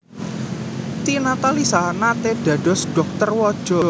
Tina Talisa naté dados dhokter waja